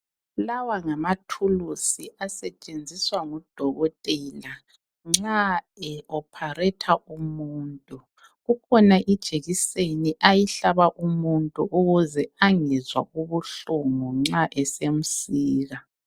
Lawa ngama thuluzi asetshenziswa ngudokotela nxa ehlinza umuntu. Kukhona ijekiseni ayihlaba umuntu ukuze angezwa ubuhlungu nxa esemsika.